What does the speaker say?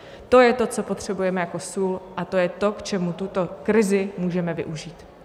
To je to, co potřebujeme jako sůl, a to je to, k čemu tuto krizi můžeme využít.